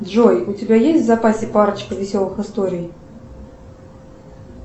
джой у тебя есть в запасе парочка веселых историй